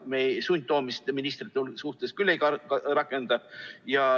Me sundtoomist ministrite suhtes küll ei rakenda.